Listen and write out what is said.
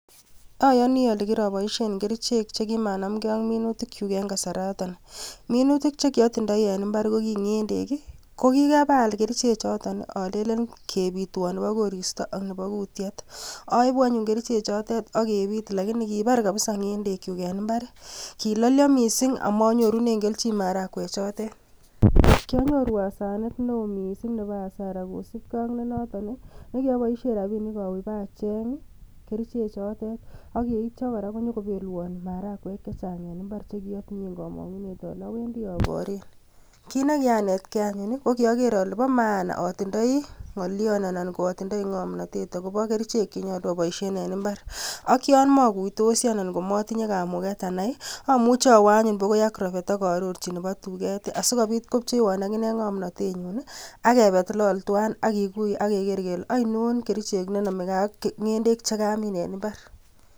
Oyoni olee kiroboishen kerichek chekimanamke ak minutikyuk en kasaraton, minutik chekiotindoi en imbar ko kii ng'endek ii, ko kikabaal kerichechoton olelen kebitwon nebo koristo ak nebo kutiet, oibu anyun kerichechotet ak kebit lakini kibar kabisaa ng'endekyuk en imbar, kilolio mising amonyorunen kelchin marakwe chotet, kionyoru asenet neo mising nebo asara kosipkee ak nenoton nekioboishen rabinik owee bacheng kerichotet akityo kora konyokobelwon marakwek chechang en imbar chekiotinyen komong'unet olee owendi oboren, kiit nekianetke anyun ko kioker olee bo maana otindoi ng'olion anan otindoi ng'omnotet akobo kerichek chekinyolu oboishen en imbar ak yoon mokuitosi anan komotinye kamuket anai amuche awoo anyun bakoi agrovet ak arorchi nebo tuket asikobit kopcheiwon akinee ng'omnotenyin ak kebet lol twan ak kikuyeak keker kelee ainon kerichek chenomekee ak ng'endek chekamin en imbar.